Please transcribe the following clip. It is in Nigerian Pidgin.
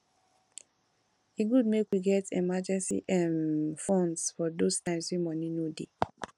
e good make we get emergency um fund for those times wey money no dey